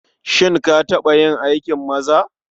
Shin ka taɓa yin aikin maza?